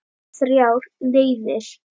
Þrjár leiðir.